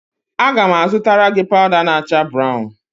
Aga m azụtara gị pawụda na-acha brawụn.